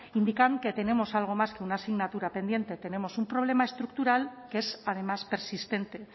indican que tenemos algo más que una asignatura pendiente tenemos un problema estructural que es además persistente